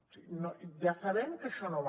o sigui ja sabem que això no va